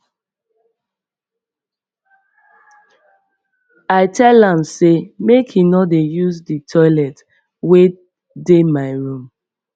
i tell am sey make he no dey use di toilet wey dey my room